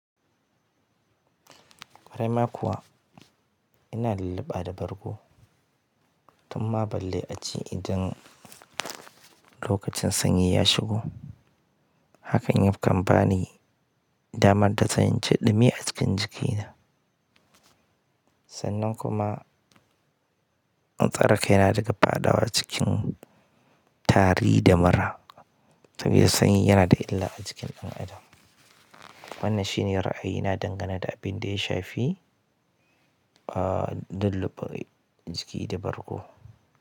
Ƙwarai ma kuwa ina lulluɓa da bargo, tun ma balle ace idan lokacin sanyi ya shigo. Haka yakan bani daman da zan ji ɗumi a cikin jikina. Sannan kuma mafara kai na daga faɗawa cikin tari da mura, saboda sanyi yana da illa a jikin ɗan adam. Wannan shine ra'ayi na dangane da abin da ya shafi, aa lulluɓa jiki da bargo.